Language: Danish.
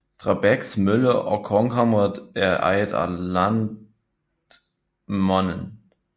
Drabæks Mølle og Kornkammeret er ejet af Lantmännen